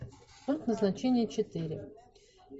пункт назначения четыре